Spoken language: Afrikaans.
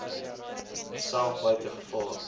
self buite gevaar